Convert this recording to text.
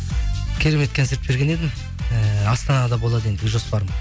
керемет концерт берген едім ііі астанада болады ендігі жоспарым